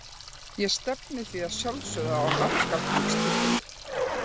Ég stefni því að sjálfsögðu á markakóngstitilinn.